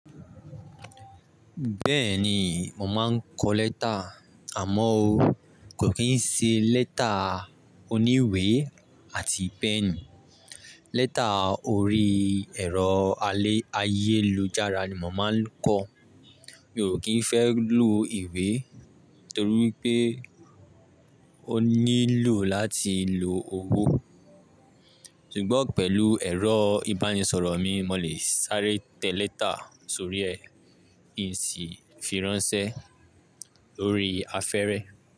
Bẹ́ẹ̀ni mò máa n kó lẹ́tà, àmọ́ ó kò kí n ṣe lẹ́tà oníwe àti pènì. Lẹ́tà orí ẹ̀rọ ayélujára ni mò máa n kó. Mi ò kín fẹ́ lù ìwé torí pé ó nílò láti lo owó. Sugbọ́n pẹ̀lú ẹ̀rọ ìbánisọ̀rọ̀ mi, mò lè sáré tẹ lẹ́tà sórí ẹ, ki si fi ránsẹ́ lórí afẹ́re.